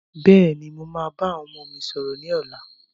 Bẹ́ẹ̀ni, mo máa bá àwọn ọmọ mi sọ̀rọ̀ ni ọ̀la.